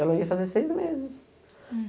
Ela ia fazer seis meses.